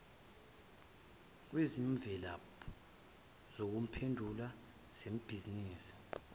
kwezimvilaphu zokuphendula zebhizinisi